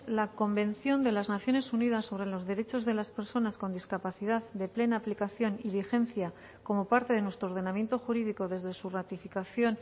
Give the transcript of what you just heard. la convención de las naciones unidas sobre los derechos de las personas con discapacidad de plena aplicación y vigencia como parte de nuestro ordenamiento jurídico desde su ratificación